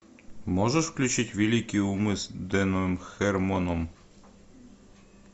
можешь включить великие умы с дэном хэрмоном